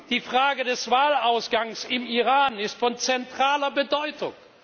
Die Frage des Wahlausgangs im Iran ist von zentraler Bedeutung.